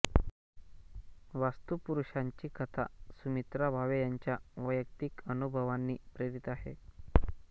वास्तुपुरुषाची कथा सुमित्रा भावे यांच्या वैयक्तिक अनुभवांनी प्रेरित आहे